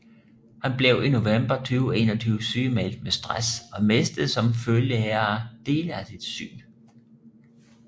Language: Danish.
Han blev i november 2021 sygemeldt med stress og mistede som følge heraf dele af sit syn